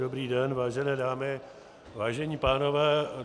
Dobrý den vážené dámy, vážení pánové.